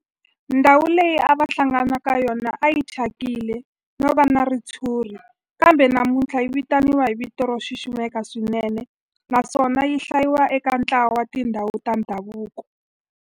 Ndhawu leyi a va hlangana ka yona a yi thyakile no va na ritshuri kambe namuntlha yi vitaniwa hi vito ro xiximeka swinene naswona yi hlayiwa eka ntlawa wa tindhawu ta ndhavuko.